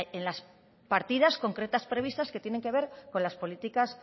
en las partidas concretas previstas que tienen que ver con las políticas